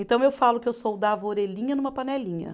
Então, eu falo que eu soldava orelhinha numa panelinha.